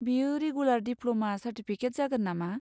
बेयो regular diploma certificate जागोन नामा?